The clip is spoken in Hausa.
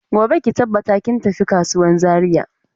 Gobe ki tabbata kin tafi kasuwan Zaria.